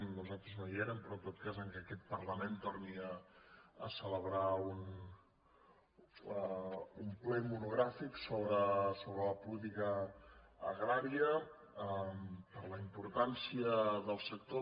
nos·altres no hi érem però en tot cas que aquest parla·ment torni a celebrar un ple monogràfic sobre la políti·ca agrària per la importància del sector